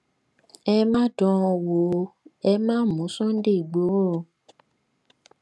ẹ má dán an wò ẹ má mú sunday ìgboro o